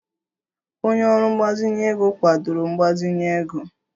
Onye ọrụ mgbazinye ego kwadoro mgbazinye ego